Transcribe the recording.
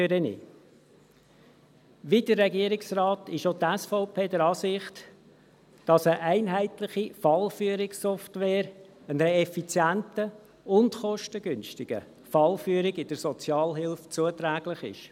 Wie der Regierungsrat ist auch die SVP der Ansicht, dass eine einheitliche Fallführungssoftware einer effizienten und kostengünstigen Fallführung in der Sozialhilfe zuträglich ist.